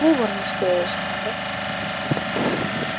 Við vorum í stöðugu sambandi.